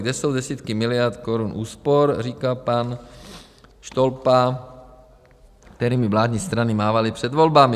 Kde jsou desítky miliard korun úspor - říká pan Štolpa - kterými vládní strany mávaly před volbami?